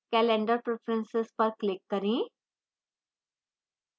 calendar preferences पर click करें